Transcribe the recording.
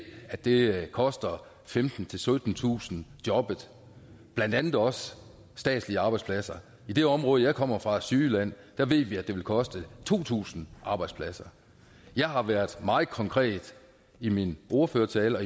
at det koster femtentusind syttentusind jobbet blandt andet også statslige arbejdspladser i det område jeg kommer fra sydjylland ved vi vi at det vil koste to tusind arbejdspladser jeg har været meget konkret i min ordførertale